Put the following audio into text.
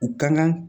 U kan ka